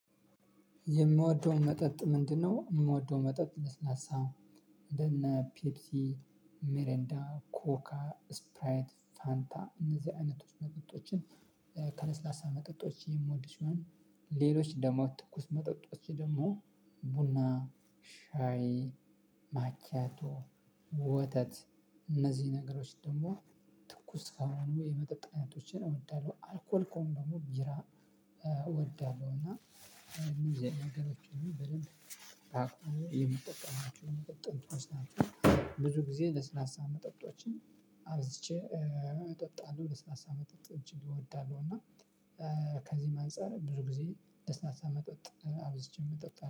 የምወደው መጠጥ ምንድነው? የምወደው መጠጥ ለስላሳ እንደነ ፔፕሲ ሚሪንዳ ኮካ ስፕራይት ፋንታ እነዚህ አይነቶች መጠጦችን ከለስላሳ መጠጦች የምወድ ስሆን ሌሎች ደግሞ ትኩስ መጠጦች ደግሞ ቡና ሻይ ማክያቶ ወተት እነዚህ ነገሮች ደግሞ ትኩስ ከሆኑ የመጠጥ አይነቶችን እወዳለሁ። አልኮል ከሆኑ ደግሞ ቢራ እወዳለሁ። እና እነዚህ በደንብ የምጠቀማቸው። ብዙ ጊዜ ለስላሳ መጠጦችን አብዝቼ እጠጣለሁ ለስላሳ መጠጥ እጅግ እወዳለሁ እና ከዚህም አንፃር ብዙ ጊዜ ለስላሳ መጠጥ አብዝቼ እጠጣለሁ